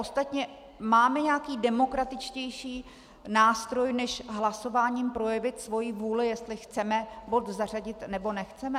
Ostatně máme nějaký demokratičtější nástroj, než hlasováním projevit svoji vůli, jestli chceme bod zařadit, nebo nechceme?